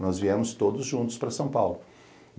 Nós viemos todos juntos para São Paulo.